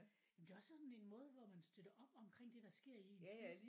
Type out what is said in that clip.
Jamen det er også sådan en måde hvor man støtter op omkring det der sker i ens by